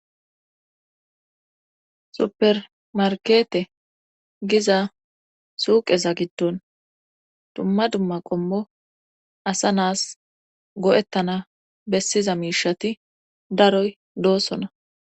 Supermarkete giza suuqeza giddon dumma dumma qommo asa naas go7ettana bessiza miishati daroy doossona.